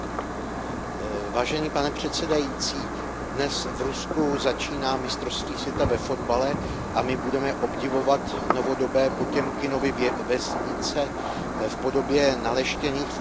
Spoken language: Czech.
Pane předsedající, dnes v Rusku začíná mistrovství světa ve fotbale a my budeme obdivovat novodobé Potěmkinovy vesnice v podobě naleštěných fotbalových stadionů.